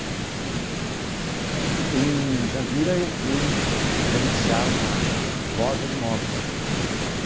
E o que que você... o que que era esse... Em Jandira eu fui gerenciar uma uma loja de imóveis.